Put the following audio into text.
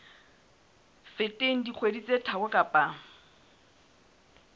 feteng dikgwedi tse tharo kapa